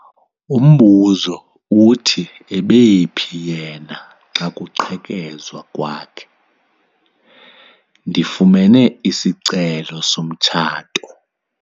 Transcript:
Umbuzo uthi ebephi yena xa kuqhekezwa kwakhe? ndifumene isicelo somtshato